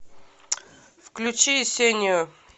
включи ясению